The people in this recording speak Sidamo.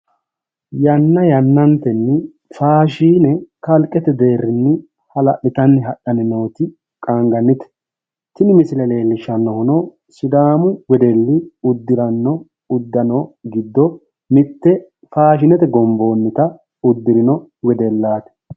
Yanna yannantenni faashiine kalqete deerinni hala'litanni hadhanni nooti qaangannite. Tini misile leellishshannohuno sidaamu wedelli uddiranno uddano giddo mitte faashinete gomboonnita uddirino wedellaati.